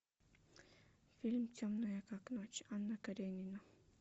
фильм темная как ночь анна каренина